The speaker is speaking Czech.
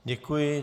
Děkuji.